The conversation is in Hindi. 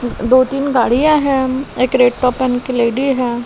दो तीन गाड़ियां हैं एक रेड पपन की लेडी है।